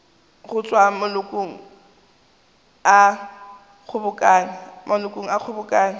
go tšwa malokong a kgobokano